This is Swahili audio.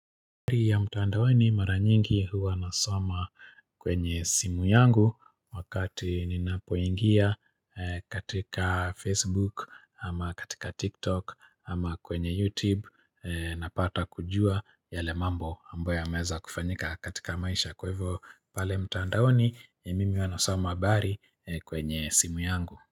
Habari ya mtaandaoni mara nyingi huwa wanasoma kwenye simu yangu wakati ninapoingia katika Facebook ama katika TikTok ama kwenye YouTube napata kujua yale mambo ambayo yameweza kufanyika katika maisha kwa hivyo pale mtaandaoni ni mimi nasoma habari kwenye simu yangu.